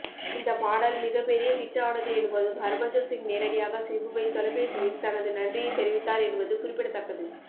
இந்த பாடல் மிகப்பெரிய ஹிட் ஆனது என்பதும் ஹர்பஜன்சிங் நேரடியாக சிம்புவை தொலைபேசியில் தனது நன்றியை தெரிவித்தார் என்பது குறிப்பிடத்தக்கது